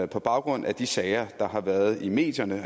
på baggrund af de sager der har været i medierne